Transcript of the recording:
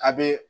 A bɛ